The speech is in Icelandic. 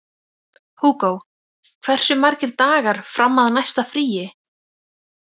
Húgó, hversu margir dagar fram að næsta fríi?